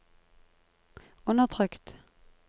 undertrykt